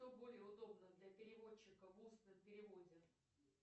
что более удобно для переводчика в устном переводе